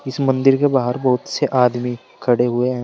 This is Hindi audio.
इस मंदिर के बाहर बहुत से आदमी खड़े हुए हैं।